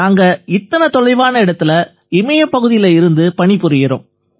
நாங்க இத்தனை தொலைவான இடத்தில இமய பகுதியில இருந்து பணி புரியறோம்